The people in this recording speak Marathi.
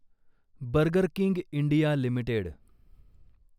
burger King India limited